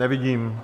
Nevidím.